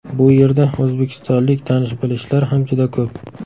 Bu yerda o‘zbekistonlik tanish-bilishlar ham juda ko‘p.